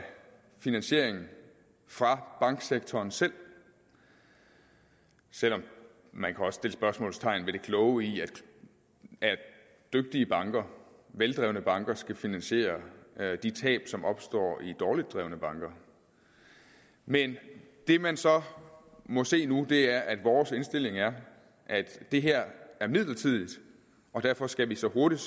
finansiering fra banksektoren selv selv om man også kan sætte spørgsmålstegn ved det kloge i at dygtige banker veldrevne banker skal finansiere de tab som opstår i dårligt drevne banker men det man så må se nu er at vores indstilling er at det her er midlertidigt og derfor skal vi så hurtigt